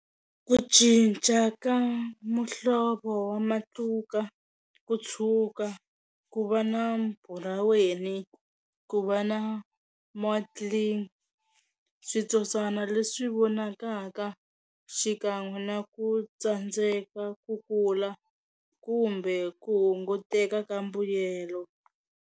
Ku cinca ka muhlovo wa matluka ku tshuka, ku va na buraweni, ku va na switsotswana leswi vonakaka xikan'we na ku tsandzeka ku kula kumbe ku hunguteka ka mbuyelo.